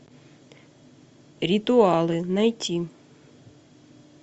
ритуалы найти